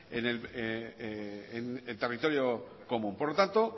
en territorio común por lo tanto